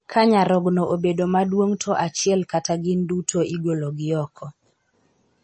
Ka nyarogno obedo maduong''to achiel kata gin duto igolo gi oko.